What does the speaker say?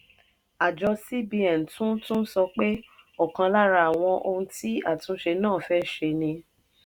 àjọ cbn tún tún sọ pé ọ̀kan lára àwọn ohun tí àtúnṣe náà fẹ́ ṣe ni